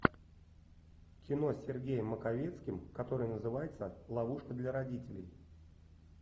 кино с сергеем маковецким которое называется ловушка для родителей